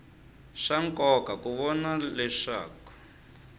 swa nkoka ku vona leswaku